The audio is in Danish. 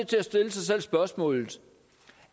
til at stille sig selv spørgsmålet